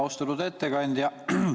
Austatud ettekandja!